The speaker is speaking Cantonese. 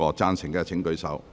贊成的請舉手。